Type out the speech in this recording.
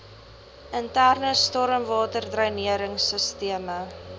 interne stormwaterdreinering sisteme